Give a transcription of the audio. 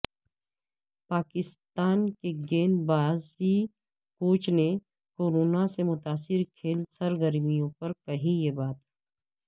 پاکستان کے گیند بازی کوچ نے کورونا سے متاثرکھیل سرگرموں پر کہی یہ بات